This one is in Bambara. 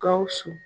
Gawusu